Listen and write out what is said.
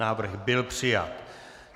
Návrh byl přijat.